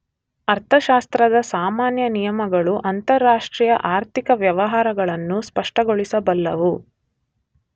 ಅರ್ಥಶಾಸ್ತ್ರದ ಸಾಮಾನ್ಯ ನಿಯಮಗಳು ಅಂತಾರಾಷ್ಟ್ರೀಯ ಆರ್ಥಿಕ ವ್ಯವಹಾರಗಳನ್ನೂ ಸ್ಪಷ್ಟಗೊಳಿಸಬಲ್ಲವು